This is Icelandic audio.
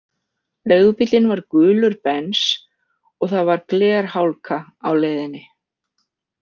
Leigubíllinn var „gulur Bens og það var glerhálka á leiðinni“